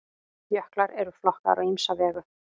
jöklar eru flokkaðir á ýmsa vegu